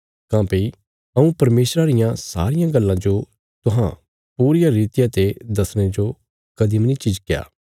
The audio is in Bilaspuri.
काँह्भई हऊँ परमेशरा रियां सारियां गल्लां जो तुहां पूरिया रितिया ते दसणे जो कदीं मनी झिझक्या